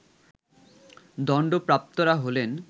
দণ্ডপ্রাপ্তরা হলেন